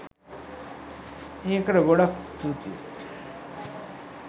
ඒකට ගොඩක් ස්තූතියි!